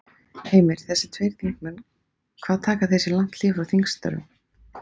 Heimir: Þessir tveir þingmenn hvað taka þeir sér lang hlé frá þingstörfum?